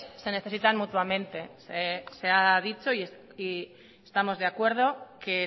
se necesitan mutuamente se ha dicho y estamos de acuerdo que